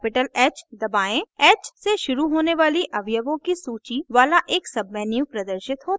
capital h दबाएं h से शुरू होने वाली अवयवों की सूची वाला एक menu प्रदर्शित होता है